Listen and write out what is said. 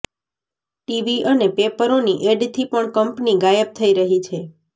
TV અને પેપરોની એડથી પણ કંપની ગાયબ થઈ રહી છે